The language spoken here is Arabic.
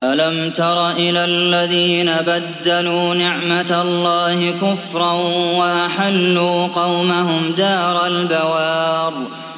۞ أَلَمْ تَرَ إِلَى الَّذِينَ بَدَّلُوا نِعْمَتَ اللَّهِ كُفْرًا وَأَحَلُّوا قَوْمَهُمْ دَارَ الْبَوَارِ